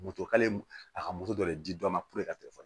Moto k'ale a ka moto de nɔ